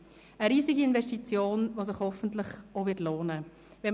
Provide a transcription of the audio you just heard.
Es ist eine riesige Investition, die sich hoffentlich lohnen wird.